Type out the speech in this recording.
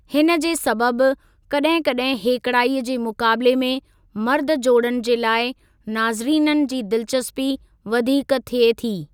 हिन जे सबबि, कड॒हिं कड॒हिं हेकिड़ाई जे मुक़ाबले में मर्द जोड़नि जे लाइ नाज़रीननि जी दिलचस्पी वधीक थिये थी।